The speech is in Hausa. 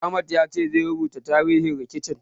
Ahmad ya ce zai rubuta tarihin rikicin.